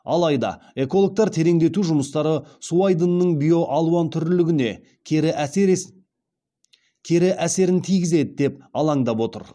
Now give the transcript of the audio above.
алайда экологтар тереңдету жұмыстары су айдынының биоалуантүрлілігіне кері әсерін тигізеді деп алаңдап отыр